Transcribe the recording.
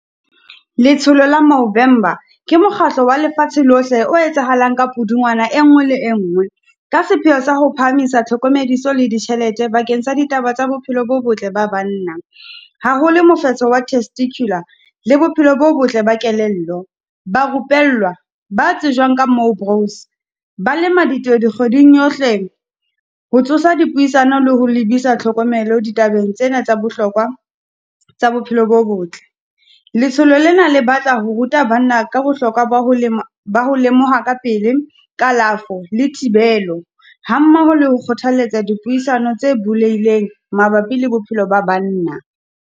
Letsholo la ke mokgatlo wa lefatshe lohle, o etsahalang ka Pudungwana e nngwe le engwe. Ka sepheo sa ho phahamisa tlhokomediso le ditjhelete bakeng sa ditaba tsa bophelo bo botle ba banna. Haholo mofetso wa testicular, le bophelo bo botle ba kelello. Ba rupellwa ba tsejwang ka . Ba le madito dikgweding yohle ho tsosa dipuisano le ho lebisa tlhokomelo di tabeng tsena tsa bohlokwa tsa bophelo bo botle. Letsholo lena le batla ho ruta banna ka bohlokwa ba ho ba ho lemoha ka pele kalafo, le thibelo, hammoho le ho kgothalletsa dipuisano tse bulehileng mabapi le bophelo ba banna.